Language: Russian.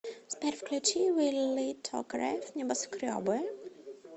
сбер включи вилли токарев небоскребы